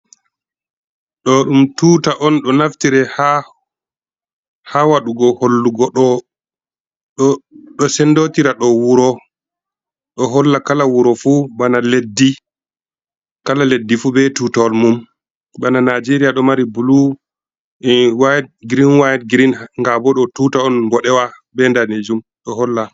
Ɗo ɗum tuta on ɗo naftire ha ha waɗugo hollugo ɗo ɗo sendotira ɗo wuro ɗo holla kala wuro fu bana leddi, kala leddi fu be tutawal mum bana nijeria ɗo mari blu e wide green, wide, green, ngabo ɗo tuta on boɗewa be danejum ɗo holla.